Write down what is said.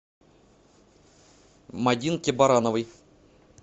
мадинке барановой